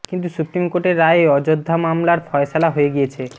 কিন্তু সুপ্রিম কোর্টের রায়ে অযোধ্য মামলার ফয়সলা হয়ে গিয়েছে